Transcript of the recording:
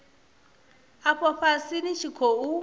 afho fhasi ni tshi khou